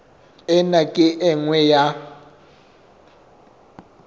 ena ke e nngwe ya